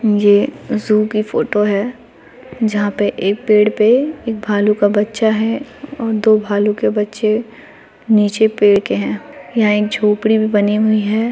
यह जू की फोटो है जहां पर एक पेड़ पे एक भालू का बच्चा है और दो भालू के बच्चे नीचे पेड़ के है यहां एक झोपड़ी भी बनी हुई है।